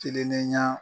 Kilennenya